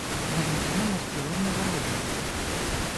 валентина марселовна вородина